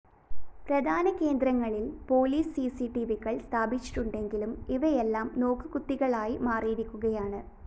പ്രധാന കേന്ദ്രങ്ങളില്‍ പോലീസ് സിസിടിവികള്‍ സ്ഥാപിച്ചിട്ടുണ്ടെങ്കിലും ഇവയെല്ലാം നോക്കുകുത്തികളായി മാറിയിരിക്കുകയാണ്